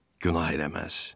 Günah eləməz.